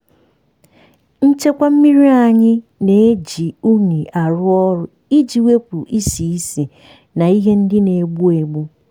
nchekwa mmiri anyị na-eji unyi arụ ọrụ iji wepụ isi isi na ihe ndị na-egbu egbu.